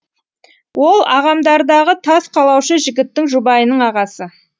ол ағамдардағы тас қалаушы жігіттің жұбайының ағасы